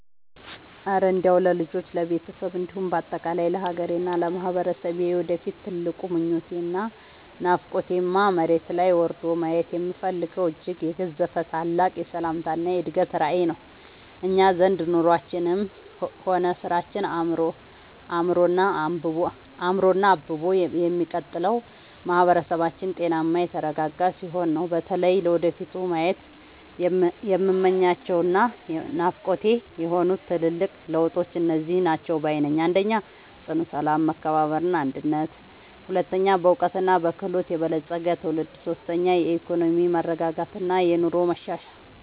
እረ እንደው ለልጆቼ፣ ለቤተሰቤ እንዲሁም በአጠቃላይ ለሀገሬና ለማህበረሰቤ የወደፊት ትልቁ ምኞቴና ናፍቆቴማ፣ መሬት ላይ ወርዶ ማየት የምፈልገው እጅግ የገዘፈ ታላቅ የሰላምና የእድገት ራዕይ ነው! እኛ ዘንድ ኑሯችንም ሆነ ስራችን አምሮና አብቦ የሚቀጥለው ማህበረሰባችን ጤናማና የተረጋጋ ሲሆን ነውና። በተለይ ለወደፊቱ ማየት የምመኛቸውና ናፍቆቴ የሆኑት ትልልቅ ለውጦች እነዚህ ናቸው ባይ ነኝ፦ 1. ጽኑ ሰላም፣ መከባበርና አንድነት 2. በዕውቀትና በክህሎት የበለፀገ ትውልድ 3. የኢኮኖሚ መረጋጋትና የኑሮ መሻሻል